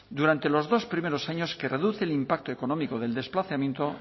durante los dos primeros años que reduce el impacto económico del desplazamiento